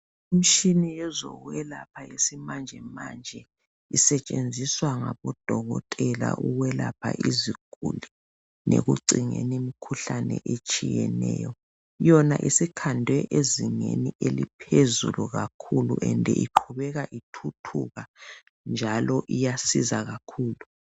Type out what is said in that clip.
Imshini yezokwelapha yesimanjemanje. Isetshenziswa ngabodokotela ukwelapha iziguli. Lekucingeni imikhuhlane etshiyeneyo. Yona isikhandwe ezingeni eliphezulu kakhulu, njalo iqhubeka ithuthuka, njalo iyasiza kakhulu.